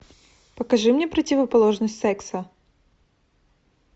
покажи мне противоположность секса